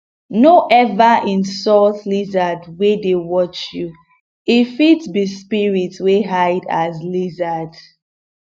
no ever insult lizard wey dey watch you e fit be spirit wey hide as lizard um